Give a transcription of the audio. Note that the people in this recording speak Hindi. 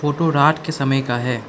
फोटो रात के समय का है।